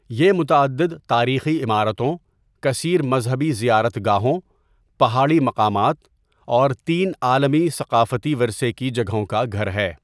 یہ متعدد تاریخی عمارتوں، کثیر مذہبی زیارت گاہوں، پہاڑی مقامات، اور تین عالمی ثقافتی ورثے کی جگہوں کا گھر ہے۔